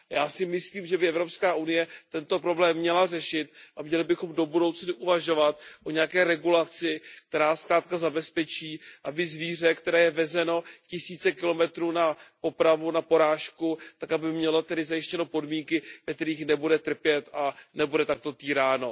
Já si myslím, že by Evropská unie tento problém měla řešit a měli bychom do budoucna uvažovat o nějaké regulaci, která zkrátka zabezpečí, aby zvíře, které je vezeno tisíce kilometrů na popravu, na porážku, tak aby mělo tedy zajištěno podmínky, ve kterých nebude trpět a nebude takto týráno.